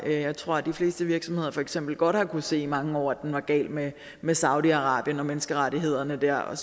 jeg tror de fleste virksomheder for eksempel godt har kunnet se i mange år at den var gal med med saudi arabien og menneskerettighederne der og